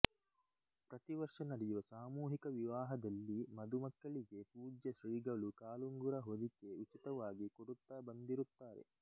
ಪ್ರತಿ ವರ್ಷ ನಡೆವ ಸಾಮೂಹಿಕ ವಿವಾಹದಲ್ಲಿ ಮದುಮಕ್ಕಳಿಗೆ ಪೂಜ್ಯ ಶ್ರೀಗಳು ಕಾಲುಂಗುರು ಹೊದಿಕೆ ಉಚಿತವಾಗಿ ಕೊಡುತ್ತಾ ಬಂದಿರುತ್ತಾರೆ